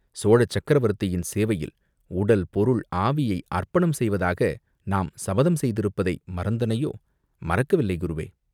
சோழ சக்கரவர்த்தியின் சேவையில் உடல் பொருள் ஆவியை அர்ப்பணம் செய்வதாக நாம் சபதம் செய்திருப்பதை மறந்தனையோ?.." "மறக்கவில்லை, குருவே!